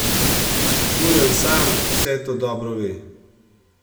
Žuraj sam vse to dobro ve.